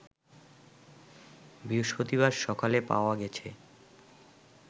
বৃহস্পতিবার সকালে পাওয়া গেছে